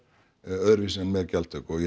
öðruvísi en með gjaldtöku og ég